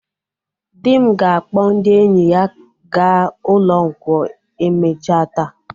Dị m ga-akpọ ndị enyi ya ga ụlọ nkwọ emecha taa.